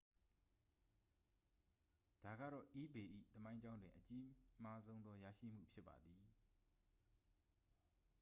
ဒါကတော့ ebay ၏ သမိုင်းကြောင်းတွင် အကြီးမားဆုံးသော ရရှိမှု ဖြစ်ပါသည်